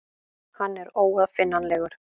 Hann er óaðfinnanlegur.